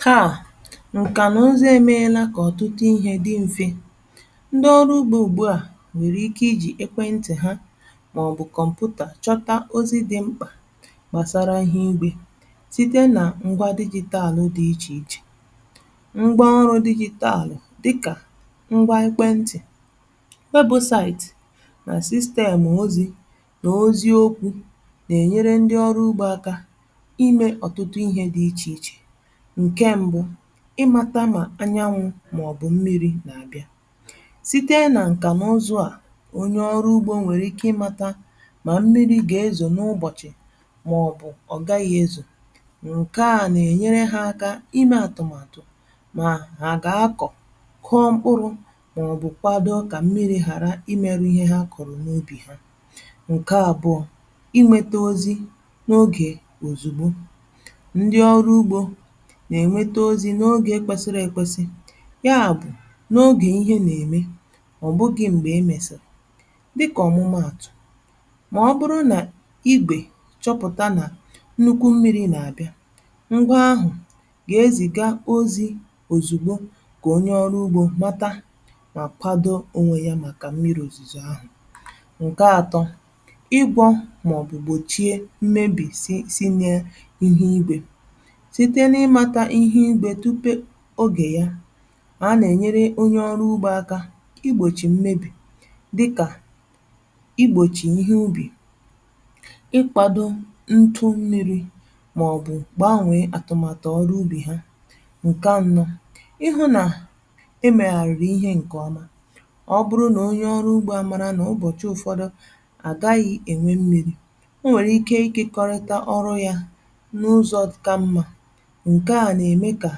Taa nkà nà ụzụ emeela kà ọ̀tụtụ ihė dị m̀fe. Ndị ọrụ ugbȯ ùgbù a nwèrè ike ijì ekwentị̀ ha màọ̀bụ̀ kọ̀mpụtà chọta ozi dị mkpà gbàsara ihe igbė, site nà ngwa digital dị ichè ichè. Ngwa ọrụ digital dịkà ngwa ekwentị̀, website nà system ozi̇ nà ozi̇ okwu̇ nà-ènyere ndị ọrụ ugbȯ aka ime ọ̀tụtụ ihė dị ichè ichè: Nke mbụ, ị mȧta mà anyanwụ̇ màọ̀bụ̀ mmiri̇ nà-àbịa: site nà ǹkà na ụzụ à, onye ọrụ ugbȯ nwèrè ike ị mȧtȧ mà mmiri gà-ezò n’ụbọ̀chị̀ màọ̀bụ̀ ọ̀gaghị̇ ezò. Nke à nà-ènyere ha aka imė àtụ̀màtụ̀ mà hà gà-akọ̀, kụọ mkpụrụ màọ̀bụ̀ kwado kà mmiri̇ ghàra ị merụ ihe ha kọ̀rọ̀ n’ubì ha. Nke abụọ, ị nwete ozi n’ogè òzùgbo: ndị ọrụ ugbo na-enwete ozi n’ogè kwesiri ekwesi, yà bụ̀ n’ogè ihe nà-ème, ọ̀ bụghị̀ m̀gbè o mèsịrị dịkà ọ̀mụmaàtụ̀; mà ọ bụrụ nà ibè chọpụ̀ta nà nnukwu mmiri nà-àbịa, ngwa ahụ̀ gà-ezìga ozi òzìgbo kà onye ọrụ ugbȯ mata mà kwado onwe ya màkà mmiri òzìzò ahụ̀. Nke atọ, ị gwọ̇ mà ọ̀ bụ̀ gbòchie mmebì si si n’ihu igwè: site n'ịmata tupe ogè ya, mà a nà-ènyere onye ọrụ ugbȯ aka igbòchì mmebì dịkà igbòchì ihe ubì, ịkpȧdȯ ntụ mmiri̇, màọ̀bụ̀ gbànwèe àtụ̀màtụ̀ ọrụ ubì ha. Nke anọ, ị hụ nà e mègàrụ̀ ihe ǹkè ọma: ọ bụrụ nà onye ọrụ ugbȯ a màrà nà ụbọ̀chị ụ̀fọdụ, àgaghị̇ ènwe mmiri̇ ọ nwèrè ike ikọrịta ọrụ yȧ n’ụzọ kà mmȧ. Nke a na-eme ka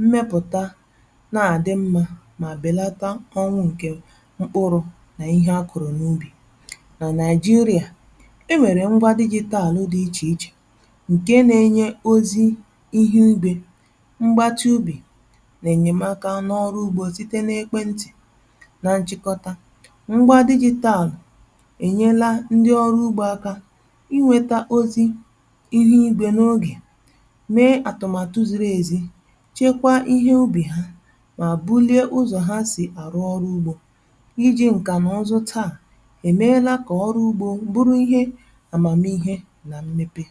mmepụta na-adị mma mà bèlata ọnwụ̇ ǹkè mkpụrụ nà ihe a kụ̀rụ̀ n’ubì. Nà naịjirịà, e nwèrè ngwa digital dị̀ ichè ichè ǹkè nà-enye ozi ihu igwe, mgbatị ubì nà-enyèmaka n’ọrụ ugbȯ site n’ekwe ǹtị̀. Nà nchịkọta, ngwa digital ènyela ndị ọrụ ugbȯ aka i nwėta ozi ihe igbė n’ogè, mee atụmaatụ ziri e zi, chekwaa ihe ubi ha mà bulie ụzọ̀ ha sì arụ ọrụ ugbo. I ji ǹkà na ụzụ taa emeela kà ọrụ ugbȯ bụrụ ihe àmàmiihe nà mmepe.